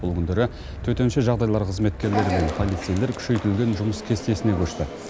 бұл күндері төтенше жағдайлар қызметкерлері мен полицейлер күшейтілген жұмыс кестесіне көшті